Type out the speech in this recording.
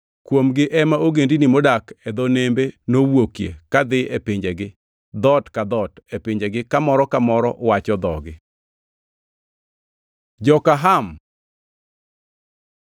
(Kuomgi ema ogendini modak e dho nembe nowuokie kadhi e pinjegi, dhoot ka dhoot, e pinjegi ka moro ka moro wacho dhogi.) Joka Ham